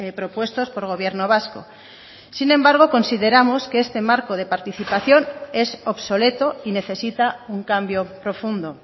propuestos por gobierno vasco sin embargo consideramos que este marco de participación es obsoleto y necesita un cambio profundo